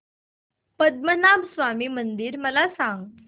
पद्मनाभ स्वामी मंदिर मला सांग